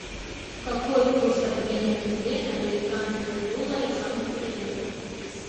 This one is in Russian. какой курс обмена тенге на американские доллары в санкт петербурге